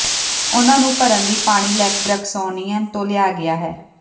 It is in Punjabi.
ਉਨ੍ਹਾਂ ਨੂੰ ਭਰਨ ਲਈ ਪਾਣੀ ਲੈਕ ਬ੍ਰੈਕਸੀਆਨੋ ਤੋਂ ਲਿਆ ਗਿਆ ਸੀ